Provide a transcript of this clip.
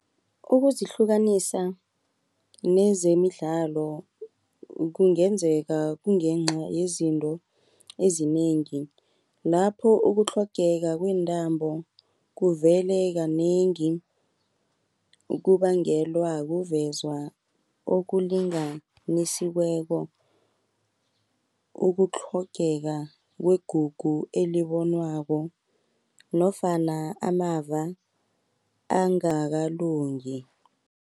Ukuzihlukanisa, nezemidlalo kungenzeka kungenca yezinto ezinengi. Lapho ukutlhogeka kweentambo kuvele kanengi, ukubangelwa kuvezwa okulinganisiweko, ukutlhogeka kwegugu elibonwako, nofana amava angakalungi.